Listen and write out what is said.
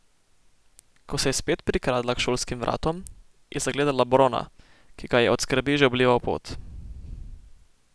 Ko se je spet prikradla k šolskim vratom, je zagledala Brona, ki ga je od skrbi že oblival pot.